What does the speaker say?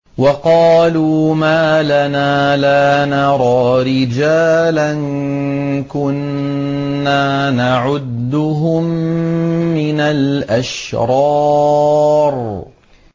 وَقَالُوا مَا لَنَا لَا نَرَىٰ رِجَالًا كُنَّا نَعُدُّهُم مِّنَ الْأَشْرَارِ